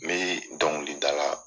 Me dɔnkilidala